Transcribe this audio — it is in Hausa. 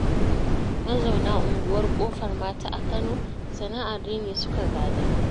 Mazauna unguwar Ƙofar mata a Kano, sana'ar rini suka gada.